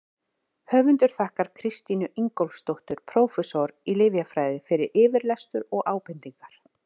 Höfundur þakkar Kristínu Ingólfsdóttur, prófessor í lyfjafræði, fyrir yfirlestur og ábendingar.